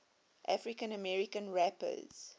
african american rappers